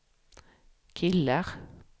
killar